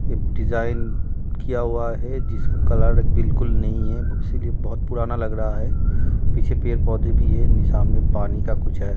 एक डिजाइन किया हुआ है जिसका कलर बिल्कुल नहीं है इसीलिए बहुत पुराना लग रहा है पीछे पेड़ पौधे भी है निशान में पानी का कुछ है।